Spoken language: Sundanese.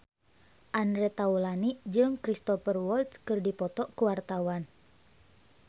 Andre Taulany jeung Cristhoper Waltz keur dipoto ku wartawan